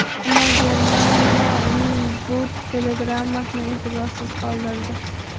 Ammo Germaniya uning bu telegrammasini e’tiborsiz qoldirdi.